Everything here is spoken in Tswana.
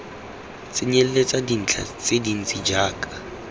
tsenyeletsa dintlha tse dintsi jaaka